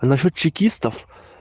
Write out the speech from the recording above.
а насчёт чекистов